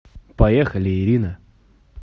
поехали ирина